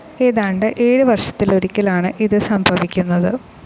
ഏതാണ്ട് ഏഴ് വർഷത്തിലൊരിക്കലാണ്‌ ഇത് സംഭവിക്കുന്നത്.